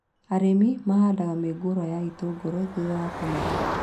Arĩmi mahandaga mĩũngũrwa ya itũngũrũ thutha wa kũmera